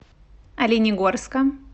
оленегорска